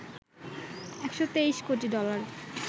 ১২৩ কোটি ডলার